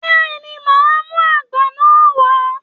Bẹ́ẹ̀ ni, màá mú àgbá náà wá.